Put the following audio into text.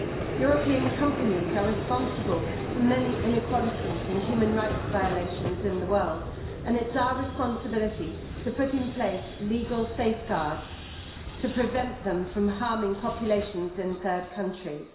European companies are responsible for many inequalities and human rights violations in the world and it's our responsibility to put in place legal safeguards to prevent them from harming populations in third countries.